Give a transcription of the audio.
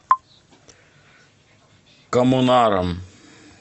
коммунаром